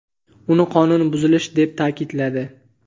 uni qonun buzilishi deb ta’kidladi.